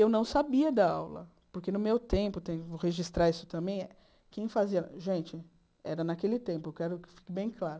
Eu não sabia dar aula, porque no meu tempo, vou registrar isso também, quem fazia... Gente, era naquele tempo, eu quero que fique bem claro.